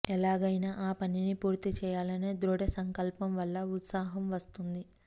ఎలాగైనా ఆ పనిని పూర్తి చేయాలనే దృఢసంకల్పం వల్ల ఉత్సాహం వస్తుంది